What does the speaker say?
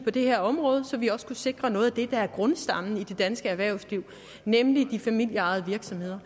det her område så vi også kunne sikre noget af det der er grundstammen i det danske erhvervsliv nemlig de familieejede virksomheder